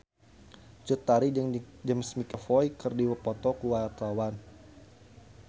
Cut Tari jeung James McAvoy keur dipoto ku wartawan